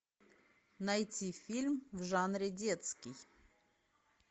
найти фильм в жанре детский